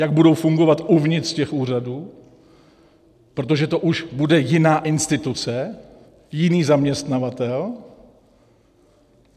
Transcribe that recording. Jak budou fungovat uvnitř těch úřadů, protože to už bude jiná instituce, jiný zaměstnavatel.